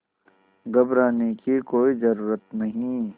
घबराने की कोई ज़रूरत नहीं